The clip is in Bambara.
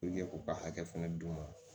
k'u ka hakɛ fɛnɛ d'u ma